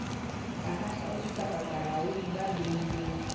bohahlaudi kapa bolaodi bo beilweng